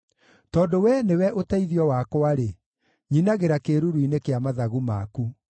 Tondũ Wee nĩwe ũteithio wakwa-rĩ, nyinagĩra kĩĩruru-inĩ kĩa mathagu maku.